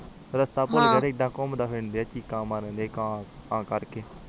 ਰਸਤਾ ਭੁੱਲਗੇ ਏਦਾਂ ਘੁੰਮਦਾ ਦੇਖ ਕੇ ਆ ਚੀਕ ਮਾਰਦੇ ਪਾਇਆ ਆ ਕਾਂ ਤਾ ਕਰਕੇ